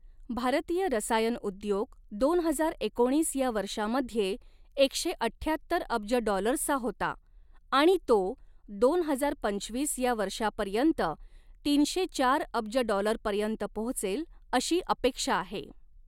भारतीय रसायन उद्योग दोन हजार एकोणीस या वर्षामध्ये एकशे अठ्ठ्याहत्तर अब्ज डॉलर्सचा होता आणि तो दोन हजार पंचवीस या वर्षापर्य़ंत तीनशे चार अब्ज डॉलरपर्यंत पोहोचेल अशी अपेक्षा आहे.